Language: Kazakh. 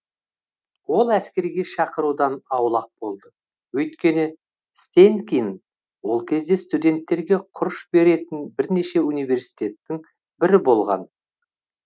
ол әскерге шақырудан аулақ болды өйткені стэнкин ол кезде студенттерге құрыш беретін бірнеше университеттің бірі болған